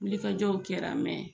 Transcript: Wulikajɔw kɛra, mɛn